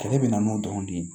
Kɛlɛ bɛ na n'o dɔrɔn de ye